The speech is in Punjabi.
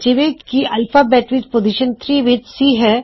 ਜਿਵੇਂ ਕੀ ਐਲਫ਼ਾਬੈੱਟ ਵਿੱਚ ਪੋਜ਼ਿਸ਼ਨ 3 ਵਿੱਚ C ਹੈ